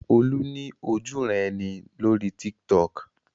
Olú ní ojúuran-ẹni lórí Tiktok.